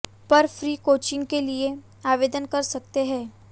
पर free coaching के लिए आवेदन कर सकते हैं